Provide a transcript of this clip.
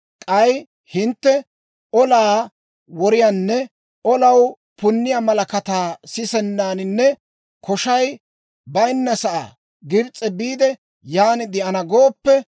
k'ay hintte, ‹Olaa woriyaanne olaw punniyaa malakataa sisennasaaninne koshay bayinnasaa Gibs'e biide, yaan de'ana› gooppe,